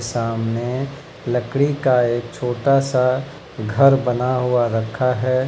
सामने लकड़ी का एक छोटा सा घर बना हुआ रखा है।